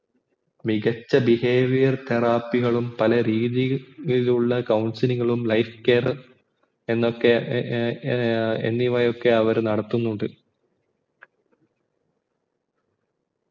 മികച്ച behavior therapy കളും പലരീതിയിൽ ഉള്ള counselinglife care ഏർ എന്നിവയൊക്കെയും അവർ നടത്തുനിനണ്ട്